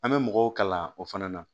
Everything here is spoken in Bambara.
An bɛ mɔgɔw kala o fana na